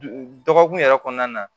Dɔgɔkun yɛrɛ kɔnɔna na